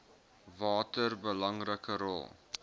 watter belangrike rol